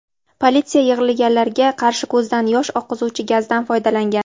Politsiya yig‘ilganlarga qarshi ko‘zdan yosh oqizuvchi gazdan foydalangan.